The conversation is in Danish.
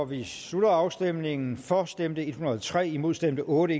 vi slutter afstemningen for stemte en hundrede og tre imod stemte otte